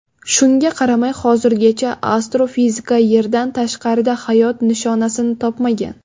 Shunga qaramay, hozirgacha astrofizika Yerdan tashqarida hayot nishonasini topmagan.